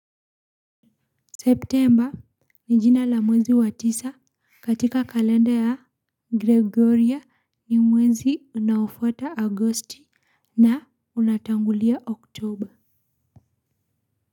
September ni jina la mwezi wa tisa katika kalenda ya gregoria ni mwezi unaofuata agosti na unatangulia october.